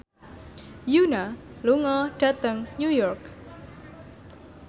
Yoona lunga dhateng New York